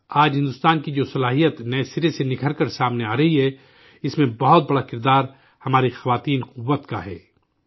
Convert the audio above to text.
آج، بھارت کی جو صلاحیت نئے سرے سے نکھر کر سامنے آ رہی ہے، اس میں بہت بڑا رول ہماری خواتین کی طاقت کا ہے